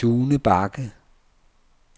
Sune Bagge